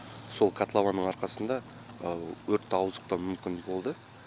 сол котлованның арқасында өртті ауыздықтау мүмкін болды